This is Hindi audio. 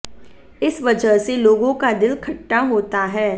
इस वजह से लोगों का दिल खट्टा होता है